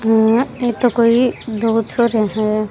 ऐ तो कोई दो छोरिया है।